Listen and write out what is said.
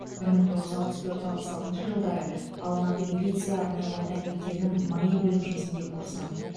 бір мың тоғыз жүз алпыс төрт алпыс алтыншы жылдары алматы милиция арнайы орта мектебінің маи бөлімшесінде курсант